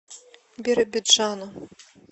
биробиджану